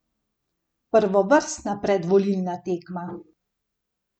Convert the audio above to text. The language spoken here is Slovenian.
Prvovrstna predvolilna tema.